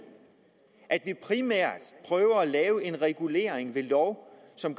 at vi primært prøver at lave en regulering ved lov som